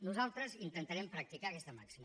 nosaltres intentarem practicar aquesta màxima